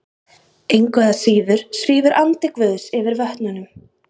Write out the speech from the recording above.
Engu að síður svífur andi Guðs yfir vötnunum.